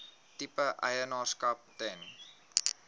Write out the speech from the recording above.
tipe eienaarskap ten